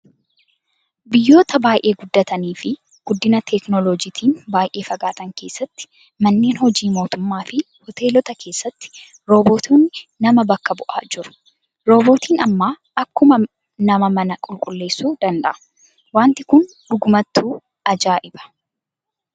Biyyoota baay'ee guddatanii fi guddina teekinooloojiitiin baay'ee fagaatan keessatti manneen hojii mootummaa fi hoteelota keessatti roobootonni nama bakka bu'aa jiru. Roobootiin ammaa akkuma namaa mana qulqulleessuu danda'a. Wanti kun dhugumattuu ajaayibaa